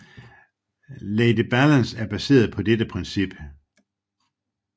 LadyBalance er baseret på dette princip